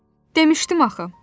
Demişdim axı.